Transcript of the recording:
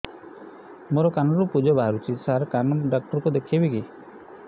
ମୋ କାନରୁ ପୁଜ ବାହାରୁଛି ସାର କାନ ଡକ୍ଟର କୁ ଦେଖାଇବି